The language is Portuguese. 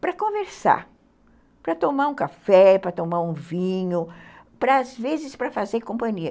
Para conversar, para tomar um café, para tomar um vinho, às vezes para fazer companhia.